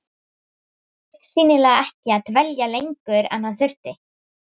Hann ætlaði augsýnilega ekki að dvelja lengur en hann þurfti.